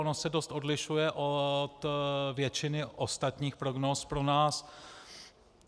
Ono se dost odlišuje od většiny ostatních prognóz pro nás.